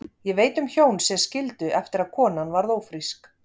Ég veit um hjón sem skildu eftir að konan varð ófrísk.